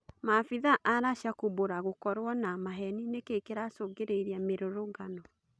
Mabithaa a Racia kumbũra gukorwo na maheni nĩ kĩ kĩ racũngĩ rĩ irie mĩ rũrũngano